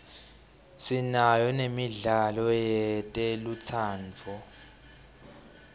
sinayo nemidlalo yetelutsandvo